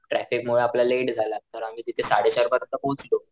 Traffic मुळे आपल्या late झाला तर आम्ही तिथे साडेचार परियंत पोहोचलो.